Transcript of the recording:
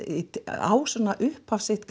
á svona upphafið sitt